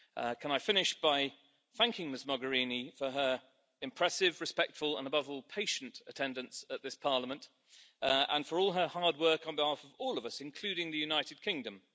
Can I finish by thanking Ms Mogherini for her impressive, respectful and, above all, patient attendance at this Parliament and for all her hard work on behalf of all of us, including the United Kingdom?